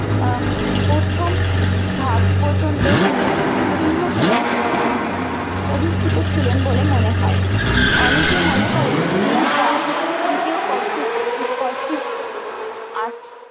আহ প্রথম ভাগ পর্যন্ত তিনি সিংহাসনে অধিষ্টিত ছিলেন বলে মনে হয় অনেকে মনে করেন বা দ্বিতীয় কোচটিজ কোচটিজ আজ